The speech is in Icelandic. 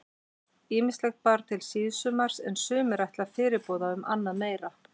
Ýmislegt bar til síðsumars er sumir ætla fyrirboða um annað meira.